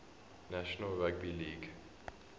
national rugby league